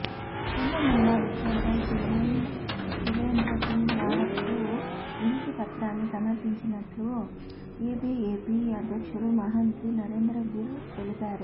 కుంభమేళా విషయంపై సీఎం తివేంద్ర సింగ్ రావత్కు వినతి పత్రాన్ని సమర్పించినట్లు ఏబీఏపీ అధ్యక్షుడు మహాంతి నరేంద్ర గిర్ తెలిపారు